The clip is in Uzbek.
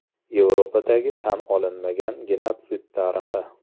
Yevropadagi tan olinmagan genotsid tarixi.